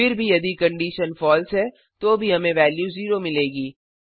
फिर भी यदि कंडिशन फलसे है तो भी हमें वेल्यू 0 मिलेगी